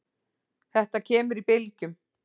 Þetta kemur í bylgjum.